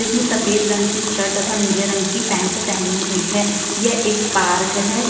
इसने सफेद रंग की शर्ट तथा नीले रंग की पेंट पहनी हुई है। ये एक पार्क है।